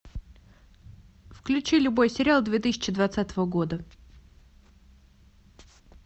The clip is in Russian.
включи любой сериал две тысячи двадцатого года